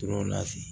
Tor'o la ten